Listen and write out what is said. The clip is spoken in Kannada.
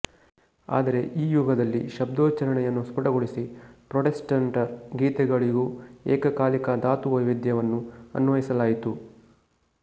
ಆದರೆ ಈ ಯುಗದಲ್ಲಿ ಶಬ್ದೋಚ್ಛಾರಣೆಯನ್ನು ಸ್ಫುಟಗೊಳಿಸಿ ಪ್ರಾಟೆಸ್ಟಂಟರ ಗೀತೆಗಳಿಗೂ ಏಕಕಾಲಿಕ ಧಾತುವೈವಿಧ್ಯವನ್ನು ಅನ್ವಯಿಸಲಾಯಿತು